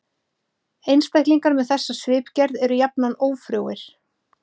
Einstaklingar með þessa svipgerð eru jafnan ófrjóir.